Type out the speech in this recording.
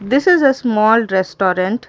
this is a small restaurant.